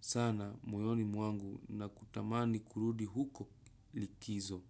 sana moyoni mwangu na kutamani kurudi huko likizo.